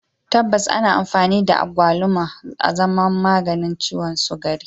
Tabbas ana amfani da abaluma azaman maganin ciwon sukari